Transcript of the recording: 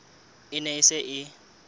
e ne e se e